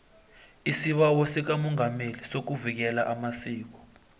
isibawo sikamongameli sokuvikela amasiko